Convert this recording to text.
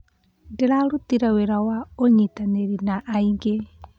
Ndĩrarutire wĩra wa ũnyitanĩri na angĩ.